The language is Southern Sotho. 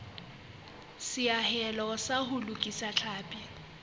seahelo sa ho lokisa tlhapi